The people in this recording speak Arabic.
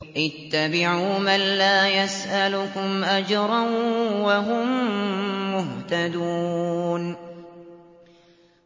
اتَّبِعُوا مَن لَّا يَسْأَلُكُمْ أَجْرًا وَهُم مُّهْتَدُونَ